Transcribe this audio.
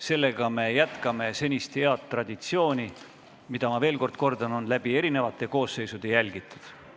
Sellega me jätkame senist head traditsiooni, mida, ma veel kord kordan, on erinevate koosseisude ajal järgitud.